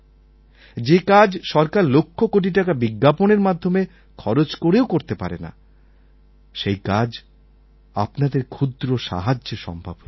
যে কাজ সরকার লক্ষকোটি টাকা বিজ্ঞাপনের মাধ্যমে খরচ করেও করতে পারে না সেই কাজ আপনাদের ক্ষুদ্র সাহায্যে সম্ভব হয়েছে